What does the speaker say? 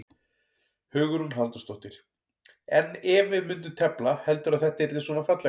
Hugrún Halldórsdóttir: En ef við myndum tefla, heldurðu að þetta yrði svona fallegt?